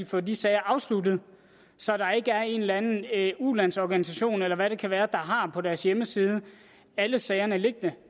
få de sager afsluttet så der ikke er en eller anden ulandsorganisation eller hvad det kan være der har dem på deres hjemmeside alle sager ligger der